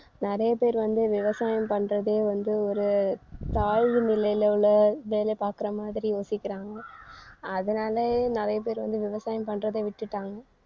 நிறைய பேர் வந்து விவசாயம் பண்றதே வந்து ஒரு தாழ்வு நிலையில உள்ள வேலை பார்க்கிற மாதிரி யோசிக்கிறாங்க. அதனால நிறைய பேர் வந்து விவசாயம் பண்றதை விட்டுட்டாங்க